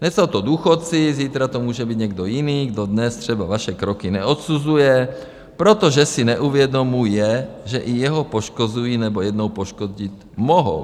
Dnes jsou to důchodci, zítra to může být někdo jiný, kdo dnes třeba vaše kroky neodsuzuje, protože si neuvědomuje, že i jeho poškozují nebo jednou poškodit mohou.